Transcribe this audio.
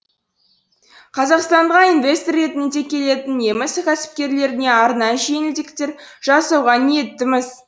қазақстанға инвестор ретінде келетін неміс кәсіпкерлеріне арнайы жеңілдіктер жасауға ниеттіміз